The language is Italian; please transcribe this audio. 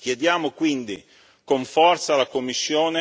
Chiediamo quindi con forza alla Commissione